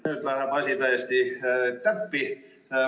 Nüüd läheb asi täiesti täppi.